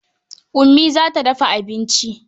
Ummi za ta dafa abinci.